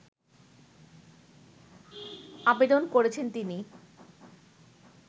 আবেদন করেছেন তিনি